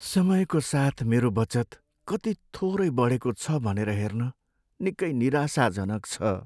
समयको साथ मेरो बचत कति थोरै बढेको छ भनेर हेर्न निकै निराशाजनक छ।